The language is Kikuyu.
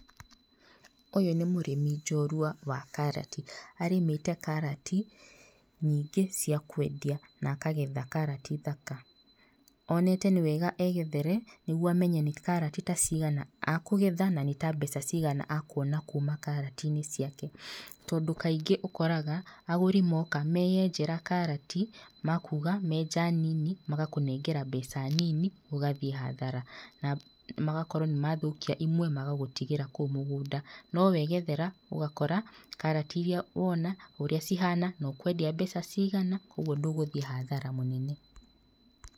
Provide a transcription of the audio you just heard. Ũyũ nĩ mũrĩmi njorua wa karati. Arĩmĩte karati nyingĩ cia kwendia na akagetha karati thaka. Onete nĩ wega egethere nĩguo amenye nĩ ta karati cigana akũgetha na nĩ ta mbeca cigana akuona kuma karatinĩ ciake. Tondũ kaingĩ ũkoraga agũri moka, meyenjera karati, makuga magetha nini, magakũnengera mbeca nini, ũgathiĩ hathara na magokwo nĩ mathũkia imwe magagũtigĩra kũu mũgũnda. No wegethera, ũgakora karati iria wona, ũrĩa cihana na ũkwendia mbeca cigana, ũguo ndũgũthiĩ hathara mũnene.